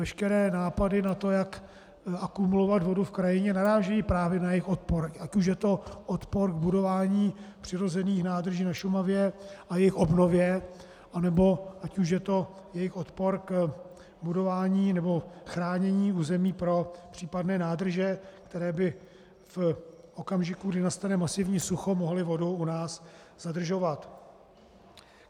Veškeré nápady na to, jak akumulovat vodu v krajině, narážejí právě na jejich odpor, ať už je to odpor k budování přirozených nádrží na Šumavě a jejich obnově, anebo ať už je to jejich odpor k budování nebo chránění území pro případné nádrže, které by v okamžiku, kdy nastane masivní sucho, mohly vodu u nás zadržovat.